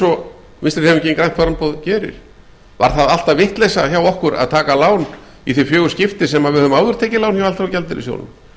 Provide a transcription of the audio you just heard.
og vinstri hreyfingin grænt framboð gerir var það alltaf vitleysa hjá okkur að taka lán í þau fjögur skipti sem við höfum áður tekið lán hjá alþjóðagjaldeyrissjóðnum